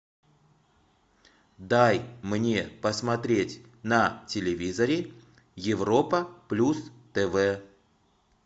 дай мне посмотреть на телевизоре европа плюс тв